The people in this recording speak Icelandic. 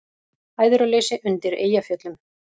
Æðruleysi undir Eyjafjöllum